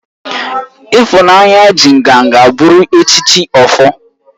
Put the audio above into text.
Ifunanya ji nganga buru echichi Ofor